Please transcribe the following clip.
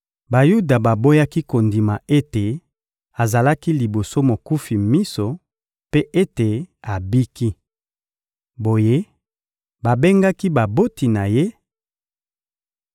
Bayuda baboyaki kondima ete azalaki liboso mokufi miso mpe ete abiki. Boye, babengaki baboti na ye